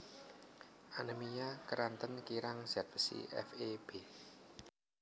Anemia keranten kirang zat besi Fe b